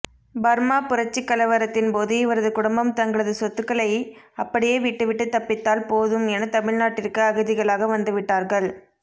Burma புரட்சிக்கலவரத்தின் போது இவரது குடும்பம் தங்களது சொத்துகளை அப்படியே விட்டிவிட்டு தப்பித்தால் போதும் என தமிழ்நாட்டிற்கு அகதிகளாக வந்துவிட்டார்கள்